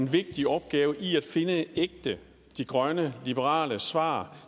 vigtig opgave i at finde de ægte grønne liberale svar